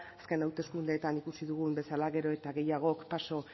azken hauteskundeetan ikusi dugun bezala gero eta gehiagok paso